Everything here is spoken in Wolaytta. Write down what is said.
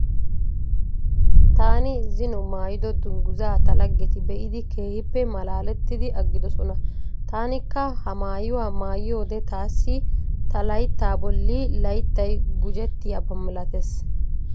Taani zino maayido dungguzaa ta laggeti be'idi keehippe malaalettidi aggidosona. Taanikka ha maayuwa maayiyode taassi ta layittaa bolli layittayi gujettiyaba milatees.